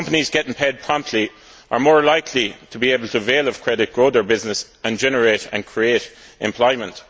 Companies getting paid promptly are more likely to be able to avail themselves of credit, grow their businesses and generate and create employment.